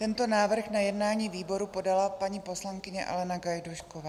Tento návrh na jednání výboru podala paní poslankyně Alena Gajdůšková.